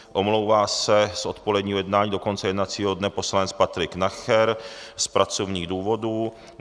Omlouvá se z odpoledního jednání do konce jednacího dne poslanec Patrik Nacher z pracovních důvodů.